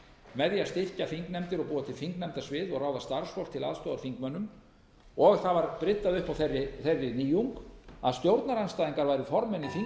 með því að styrkja þingnefndir og búa til þingnefndasvið og ráða starfsfólk til aðstoðar þingmönnum það var bryddað upp á þeirri nýjung að stjórnarandstæðingar væru formenn í þingnefndum í bland við stjórnarliða